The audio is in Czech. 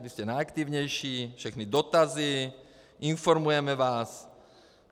Vy jste nejaktivnější, všechny dotazy, informujeme vás.